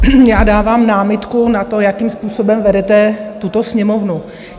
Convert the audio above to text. Já dávám námitku na to, jakým způsobem vedete tuto Sněmovnu.